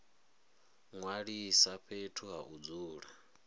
ṅwalisa fhethu ha u dzula